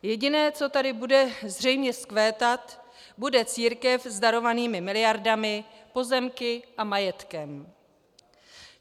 Jediné, co tady bude zřejmě vzkvétat, bude církev s darovanými miliardami, pozemky a majetkem.